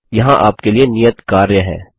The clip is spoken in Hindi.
यहाँ आपके लिए नियत कार्य है